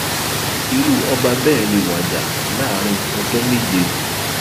irú ọba bẹẹ lè wájà láàrin ọjọ méje